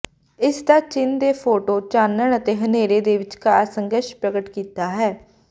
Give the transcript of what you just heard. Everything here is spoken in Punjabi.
ਇਸ ਦਾ ਚਿੰਨ੍ਹ ਦੇ ਫ਼ੋਟੋ ਚਾਨਣ ਅਤੇ ਹਨੇਰੇ ਦੇ ਵਿਚਕਾਰ ਸੰਘਰਸ਼ ਪ੍ਰਗਟ ਕੀਤਾ ਹੈ